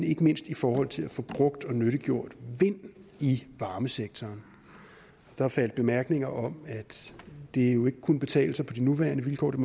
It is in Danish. ikke mindst i forhold til at få brugt og nyttiggjort vind i varmesektoren der faldt bemærkninger om at det jo ikke kunne betale sig på de nuværende vilkår der